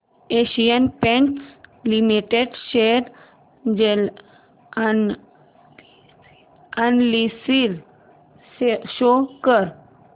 Asian paints limited share analysis show कर